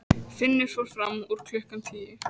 Finnur fór fram úr klukkan tíu.